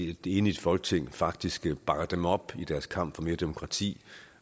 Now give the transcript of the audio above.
et enigt folketing faktisk bakker dem op i deres kamp for mere demokrati